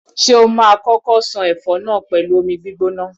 Ṣé o ma kókó ṣan ẹfọ náà pẹ̀lú omi gbígbóná?